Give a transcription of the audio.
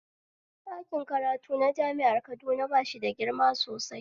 Dakin karatu na jami'ar Kaduna bashi da girma sosai